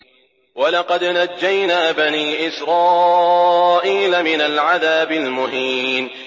وَلَقَدْ نَجَّيْنَا بَنِي إِسْرَائِيلَ مِنَ الْعَذَابِ الْمُهِينِ